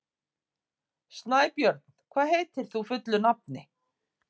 Snæbjörn, hvað heitir þú fullu nafni?